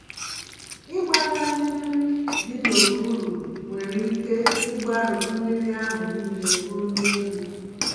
Ịkpagharị mmiri dị n'okpuru nwere ike ịgbarụ mmírí ahụ nile ruo n'elu.